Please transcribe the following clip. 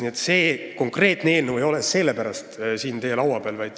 Aga see konkreetne eelnõu ei ole sellepärast siin teie laua peal.